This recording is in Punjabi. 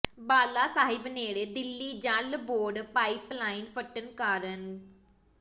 ਬਾਲਾ ਸਾਹਿਬ ਨੇੜੇ Delhi Jal board pipe line ਫੱਟਣ ਕਾਰਨ ਗੁ